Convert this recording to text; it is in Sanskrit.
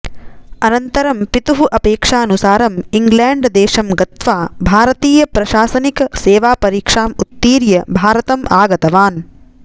अनन्तरं पितुः अपेक्षानुसारम् इङ्ग्लैण्डदेशं गत्वा भारतीयप्रशासनिकसेवापरीक्षाम् उत्तीर्य भारतम् आगतवान्